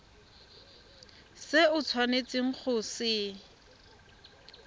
se o tshwanetseng go se